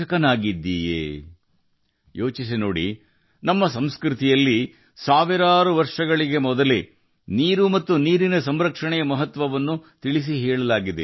ಈ ಕುರಿತು ಯೋಚಿಸಿ ನೀರು ಮತ್ತು ನೀರಿನ ಸಂರಕ್ಷಣೆಯ ಮಹತ್ವವನ್ನು ನಮ್ಮ ಸಂಸ್ಕೃತಿಯಲ್ಲಿ ಸಾವಿರಾರು ವರ್ಷಗಳ ಹಿಂದೆಯೇ ವಿವರಿಸಲಾಗಿದೆ